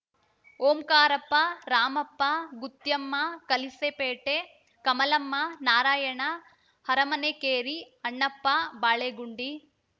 Omkarappa Ramappa Gutyamma Kalisepete Kamalamma Narayana Aramanekeri Annappa Balegundi